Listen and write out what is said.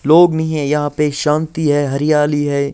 लोग नही हैं यहाँ पे हरियाली हैं शांति हैं।